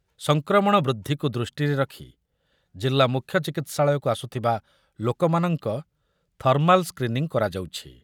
ସଂକ୍ରମଣ ବୃଦ୍ଧିକୁ ଦୃଷ୍ଟିରେ ରଖି ଜିଲ୍ଲା ମୁଖ୍ୟ ଚିକିତ୍ସାଳୟକୁ ଆସୁଥିବା ଲୋକମାନଙ୍କ ଥର୍ମାଲ୍ ସ୍କ୍ରିନିଂ କରାଯାଉଛି ।